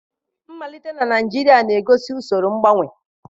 Mmalite na Naijiria na-egosi usoro mgbanwe.